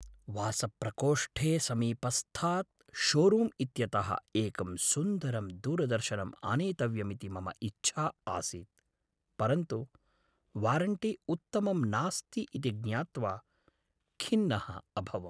वासप्रकोष्ठे समीपस्थात् शोरूम् इत्यतः एकं सुन्दरं दूरदर्शनम् आनेतव्यमिति मम इच्छा आसीत्, परन्तु वारण्टी उत्तमं नास्ति इति ज्ञात्वा खिन्नः अभवम्।